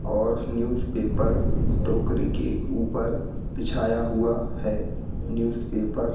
और newspaper टोकरी के ऊपर बिछाया हुआ है न्यूज़ पेपर --